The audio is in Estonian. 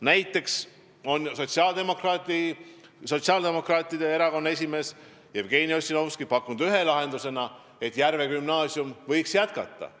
Näiteks on sotsiaaldemokraatide erakonna esimees Jevgeni Ossinovski pakkunud ühe lahendusena, et Järve gümnaasium võiks jätkata.